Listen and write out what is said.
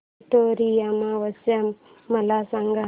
पिठोरी अमावस्या मला सांग